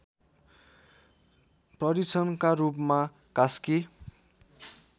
परीक्षणका रूपमा कास्की